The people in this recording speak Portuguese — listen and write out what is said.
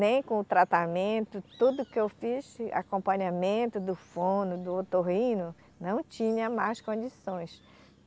Nem com o tratamento, tudo que eu fiz, acompanhamento do fono, do otorrino, não tinha mais condições.